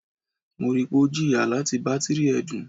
Mo rii pe o jiya lati batiri ẹdun